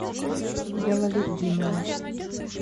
ялалетдинова